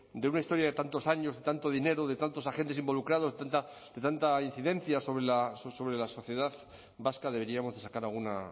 de una historia de tantos años de tanto dinero de tantos agentes involucrados tanta incidencia sobre la sociedad vasca deberíamos sacar alguna